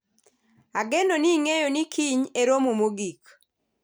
ageno ni ing'eyo ni kiny e romo mogik